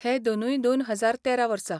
हे दोनूय दोन हजार तेरा वर्सा.